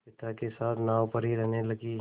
पिता के साथ नाव पर ही रहने लगी